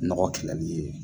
Nɔgɔ kɛlɛli ye